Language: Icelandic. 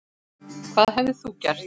Hvað hefðir þú gert?